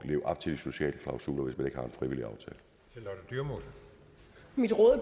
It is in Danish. at leve op til de sociale klausuler hvis man